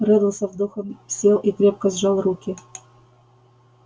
реддл со вздохом сел и крепко сжал руки